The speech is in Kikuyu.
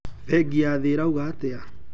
Bengi ya thii irauga atia?